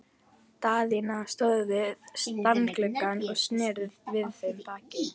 Daðína stóð við stafngluggann og sneri við þeim baki.